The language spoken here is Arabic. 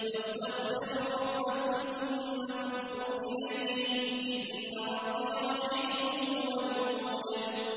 وَاسْتَغْفِرُوا رَبَّكُمْ ثُمَّ تُوبُوا إِلَيْهِ ۚ إِنَّ رَبِّي رَحِيمٌ وَدُودٌ